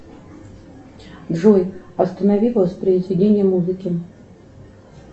джой останови воспроизведение музыки